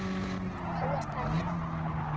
Þú ert þannig.